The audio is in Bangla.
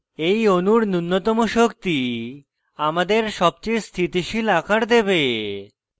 এই অণুর নুন্যতম শক্তি আমাদের সবচেয়ে স্থিতিশীল আকার দেবে